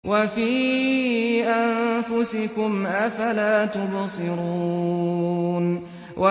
وَفِي أَنفُسِكُمْ ۚ أَفَلَا تُبْصِرُونَ